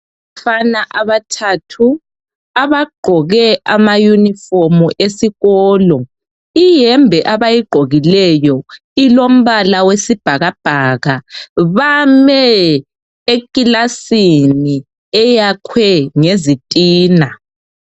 Abafana abathathu abagqoke amayunifomu esikolo iyembe abayigqokileyo ilombala wesibhakabhaka, bame ekilasini eyakhwe ngezitina.